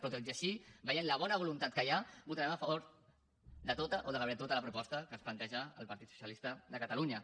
però tot i així veient la bona voluntat que hi ha votarem a favor de tota o de gairebé de tota la proposta que ens planteja el partit socialista de catalunya